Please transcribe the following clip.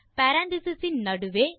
parenthesis இன் நடுவே